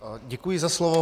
Děkuji za slovo.